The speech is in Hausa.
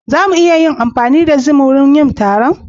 Za mu iya amfani da zoom wurin yin taron?